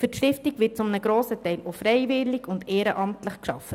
Für die Stiftung wird zu einem grossen Teil auch ehrenamtlich gearbeitet.